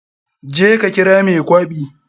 Je ka kira mai kwaɓi.